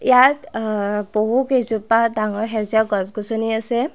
ইয়াত আ বহু কেইজোপা ডাঙৰ সেউজীয়া গছ-গছনি আছে।